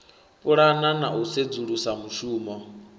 pulana na u sedzulusa mushumo